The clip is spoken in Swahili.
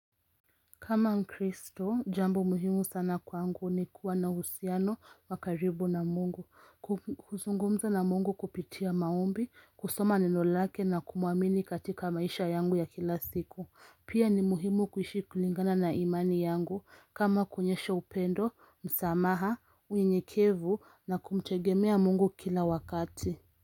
Kama mkristo, jambo muhimu sana kwangu ni kuwa na husiano wakaribu na mungu, kuzungumza na mungu kupitia maombi, kusoma neno lake na kumuamini katika maisha yangu ya kila siku. Pia ni muhimu kuishi kulingana na imani yangu kama kunyesha upendo, msamaha, unyekevu na kumtegemea mungu kila wakati.